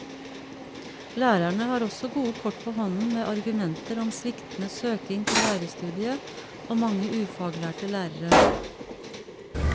Lærerne har også gode kort på hånden med argumenter om sviktende søking til lærerstudiet og mange ufaglærte lærere.